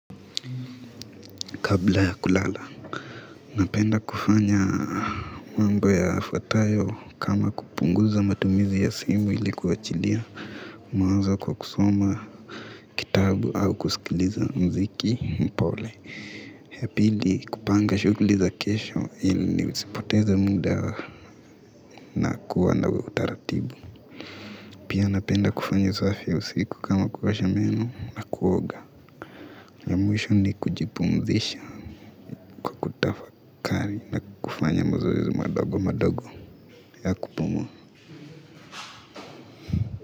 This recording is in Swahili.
Kabla ya kulala, napenda kufanya mambo yafuatayo, kama kupunguza matumizi ya simu ili kuachilia mawazo kwa kusoma. Kitabu au kusikiliza muziki mpole. Ya pili kupanga shughuli za kesho ili nisipoteza muda. Na kuwa na utaratibu, pia napenda kufanya usafi wa usiku kama kuosha meno na kuoga. Ya mwisho ni kujipumzisha kwa kutafakari na kufanya mazoezi madogo madogo.